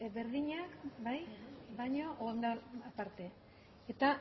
berdinak bai baino tarte eta